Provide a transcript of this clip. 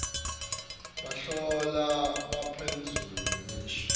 bahlolwa baphendvula ngemisho